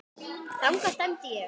Þangað stefndi ég.